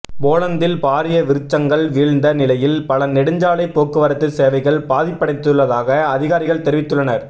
போலந்தில் பாரிய விருச்சங்கள் வீழ்ந்த நிலையில் பல நெடுஞ்சாலை போக்குவரத்து சேவைகள் பாதிப்படைந்துள்ளதாக அதிகாரிகள் தெரிவித்துள்ளனர்